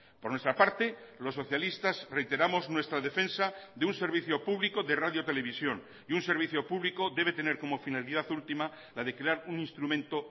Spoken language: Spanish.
por nuestra parte los socialistas reiteramos nuestra defensa de un servicio público de radio televisión y un servicio público debe tener como finalidad última la de crear un instrumento